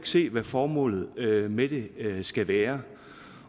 se hvad formålet med det skal være